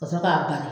Ka sɔrɔ k'a bari